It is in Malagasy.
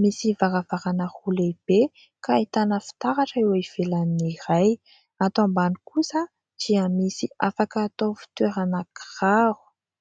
misy varavarana roa lehibe ka ahitana fitaratra eo ivelan'ny iray. Ato ambany kosa dia misy afaka atao fitoerana kiraro;